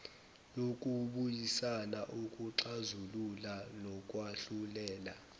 yokubuyisana ukuxazulula nokwahlulela